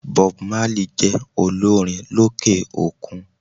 Bob Marley jé olórin lókè òkun